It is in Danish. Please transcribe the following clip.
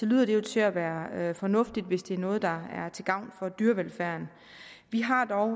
lyder det jo til at være være fornuftigt hvis det er noget der er til gavn for dyrevelfærden vi har dog